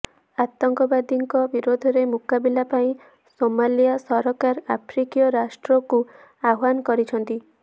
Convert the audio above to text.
ଆତଙ୍କବାଦୀଙ୍କ ବିରୋଧରେ ମୁକାବିଲା ପାଇଁ ସୋମାଲିଆ ସରକାର ଆଫ୍ରିକୀୟ ରାଷ୍ଟ୍ରଙ୍କୁ ଆହ୍ୱାନ କରିଛନ୍ତି